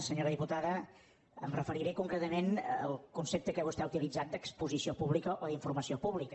senyora diputada em referiré concretament al concepte que vostè ha utilitzat d’exposició pública o d’informació pública